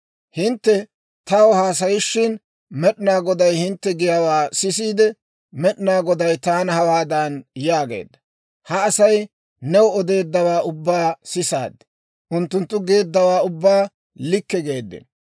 «Hintte taw haasayishin, Med'inaa Goday hintte giyaawaa sisiide, Med'inaa Goday taana hawaadan yaageedda; ‹Ha Asay new odeeddawaa ubbaa sisaad; unttunttu geeddawaa ubbaa likke geeddino.